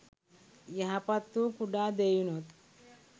යහපත්වූ කුඩා දෙයිනුත්